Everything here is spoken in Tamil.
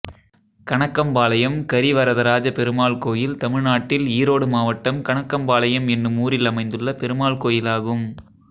கணக்கம்பாளையம் கரிவரதராஜபெருமாள் கோயில் தமிழ்நாட்டில் ஈரோடு மாவட்டம் கணக்கம்பாளையம் என்னும் ஊரில் அமைந்துள்ள பெருமாள் கோயிலாகும்